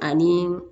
Ani